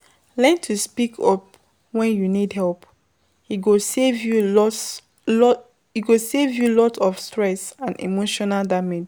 Learn to speak up when you need help, e go save you alot of stress and emotional damage